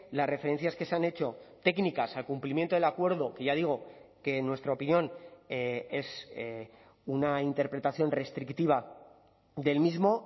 las referencias que se han hecho técnicas al cumplimiento del acuerdo que ya digo que en nuestra opinión es una interpretación restrictiva del mismo